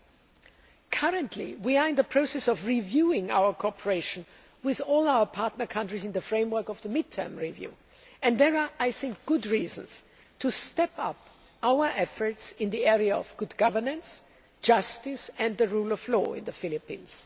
We are currently in the process of reviewing our cooperation with all our partner countries in the framework of the Mid Term Review and there are good reasons to step up our efforts in the area of good governance, justice and the rule of law in the Philippines.